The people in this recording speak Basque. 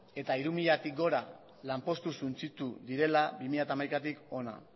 eta hiru milatik gora lanpostu suntsitu direla bi mila hamaikatik hona